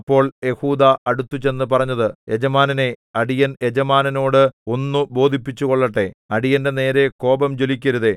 അപ്പോൾ യെഹൂദാ അടുത്തുചെന്നു പറഞ്ഞത് യജമാനനേ അടിയൻ യജമാനനോട് ഒന്ന് ബോധിപ്പിച്ചുകൊള്ളട്ടേ അടിയന്റെ നേരെ കോപം ജ്വലിക്കരുതേ